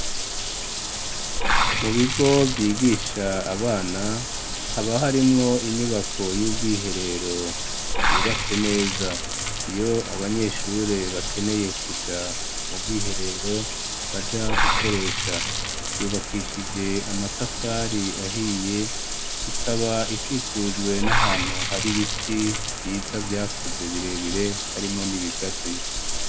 Mu bigo vyigisha abana, haba harimwo inyubako y'ubwiherero yubatse neza, iyo abanyeshure bakeneye kuja mu bwiherero baja gukoresha, yubakishije amatafari ahiye, ikaba ikikujwe n'ahantu hari ibiti vyiza vyakuze birebire, harimwo n'ibigazi.